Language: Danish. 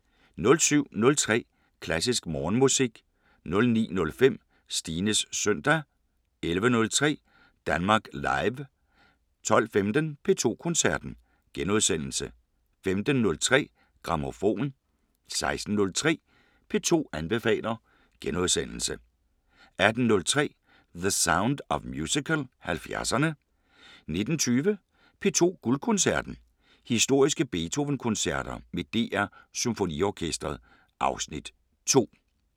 07:03: Klassisk Morgenmusik 09:05: Stines søndag 11:03: Danmark Live 12:15: P2 Koncerten * 15:03: Grammofon 16:03: P2 anbefaler * 18:03: The Sound of Musical: 70'erne 19:20: P2 Guldkoncerten: Historiske Beethoven-koncerter med DR SymfoniOrkestret (Afs. 2)